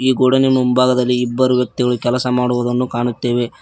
ಈ ಗೋಡೌನಿ ನ ಮುಂಭಾಗದಲ್ಲಿ ಇಬ್ಬರು ವ್ಯಕ್ತಿಗಳು ಕೆಲಸ ಮಾಡುವುದನ್ನು ಕಾಣುತ್ತೇವೆ.